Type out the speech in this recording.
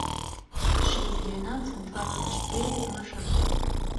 шесть двенадцать двадцать четыре маршрут